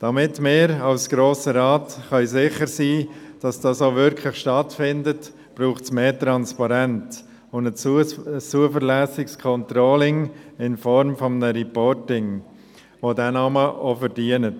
Damit wir als Grosser Rat sicher sein können, dass das auch wirklich stattfindet, braucht es mehr Transparenz und ein zuverlässiges Controlling in Form eines Reportings, das diesen Namen auch verdient.